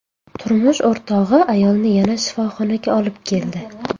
Turmush o‘rtog‘i ayolni yana shifoxonaga olib keldi.